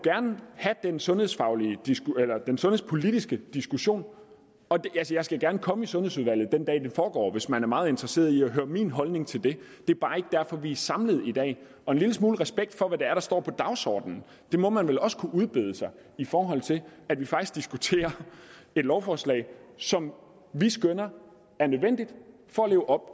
have den sundhedspolitiske den sundhedspolitiske diskussion jeg skal gerne komme i sundhedsudvalget den dag det foregår hvis man er meget interesseret i at høre min holdning til det det er bare ikke derfor vi er samlet i dag og en lille smule respekt for hvad der står på dagsordenen må man vel også kunne udbede sig i forhold til at vi faktisk diskuterer et lovforslag som vi skønner er nødvendigt for at leve op